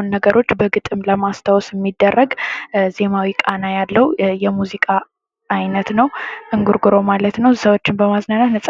የሚነካ ድንቅ የጥበብ ቅርጽ ነው።